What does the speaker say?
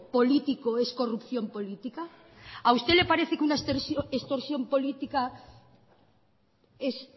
político es corrupción política a usted la parece que una extorsión política es